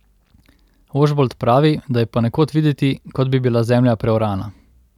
Ožbolt pravi, da je ponekod videti, kot bi bila zemlja preorana.